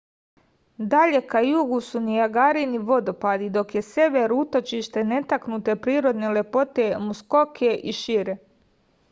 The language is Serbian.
dalje ka jugu su nijagarini vodopadi dok je sever utočište netaknute prirodne lepote muskoke i šire